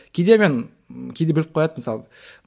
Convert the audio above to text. кейде мен ы кейде біліп қояды мысалы